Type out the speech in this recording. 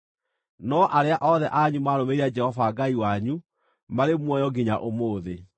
no arĩa othe anyu maarũmĩrĩire Jehova Ngai wanyu, marĩ muoyo nginya ũmũthĩ.